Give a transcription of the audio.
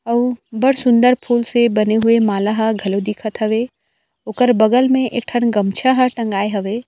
अउ बड़ सुन्दर फूल से बने हुए माला हा घलऊ दिखत हवे ओकर बगल में एक ठन गमछा ह टँगाए हवे।